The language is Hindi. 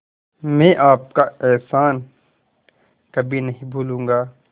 मैं आपका एहसान कभी नहीं भूलूंगा